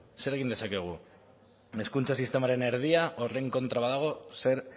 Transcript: zer egin dezakegu hezkuntza sistemaren erdia horren kontra badago zer